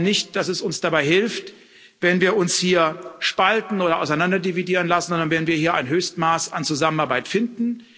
Ich glaube nicht, dass es uns dabei hilft, wenn wir uns hier spalten oder auseinanderdividieren lassen, sondern dass es uns hilft, wenn wir hier ein Höchstmaß an Zusammenarbeit finden.